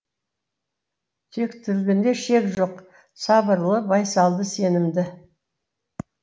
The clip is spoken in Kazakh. тектілігінде шек жоқ сабырлы байсалды сенімді